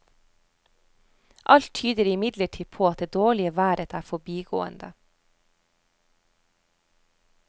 Alt tyder imidlertid på at det dårlige været er forbigående.